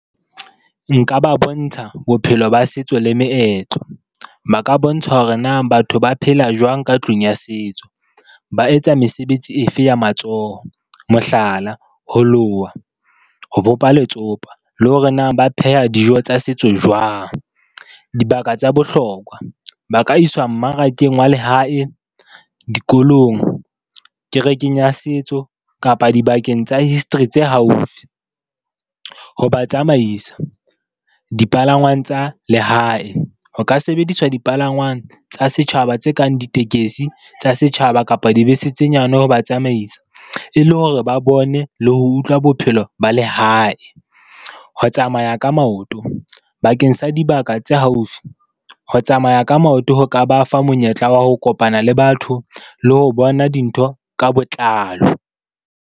Nka ba bontsha bophelo ba setso le meetlo, ba ka bontshwa hore na batho ba phela jwang ka tlung ya setso, ba etsa mesebetsi efe ya matsoho, mohlala, ho loha, ho bopa letsopa le hore na ba pheha dijo tsa setso jwang. Dibaka tsa bohlokwa, ba ka iswa mmarakeng wa lehae, dikolong, kerekeng ya setso kapa dibakeng tsa history tse haufi. Ho ba tsamaisa, dipalangwang tsa lehae ho ka sebediswa dipalangwang tsa setjhaba tse kang ditekesi tsa setjhaba kapa dibese tse nyane, ho ba tsamaisa e le hore ba bone le ho utlwa bophelo ba lehae. Ho tsamaya ka maoto, bakeng sa dibaka tse haufi ho tsamaya ka maoto, ho ka ba fa monyetla wa ho kopana le batho le ho bona dintho ka botlalo.